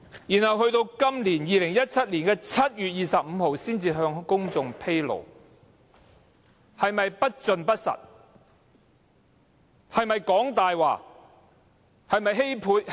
然後至今年2017年7月25日才向公眾披露，做法是否不夠老實？